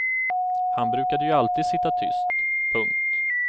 Han brukade ju alltid sitta tyst. punkt